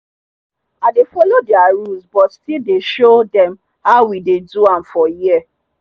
i dey follow their rules but still dey show dem how we dey do am for here